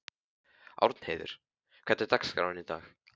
Árnheiður, hvernig er dagskráin í dag?